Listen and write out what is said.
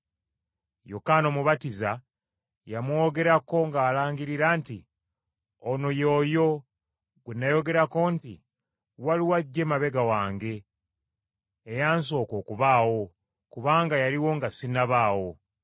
Yokaana Omubatiza yamwogerako, ng’alangirira nti, “Ono ye oyo gwe nayogerako nti, ‘Waliwo ajja emabega wange, eyansoka okubaawo, kubanga yaliwo nga sinnabaawo.’ ”